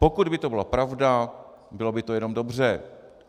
Pokud by to byla pravda, bylo by to jenom dobře.